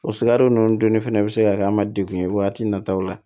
O sikaro ninnu dunni fɛnɛ bɛ se ka kɛ an ma degun ye waati nataw la